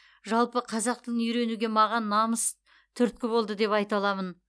жалпы қазақ тілін үйренуге маған намыс түрткі болды деп айта аламын